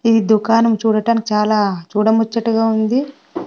ఈ దుకానం చూడటానికి చాలా చూడ మొచ్చటుగా ఉంది.